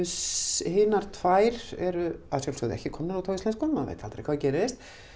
hinar tvær eru að sjálfsögðu ekki komnar út á íslensku maður veit aldrei hvað gerist